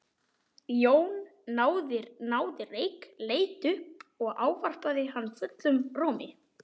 Jón náði reyk, leit upp og ávarpaði hann fullum rómi.